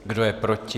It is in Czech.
Kdo je proti?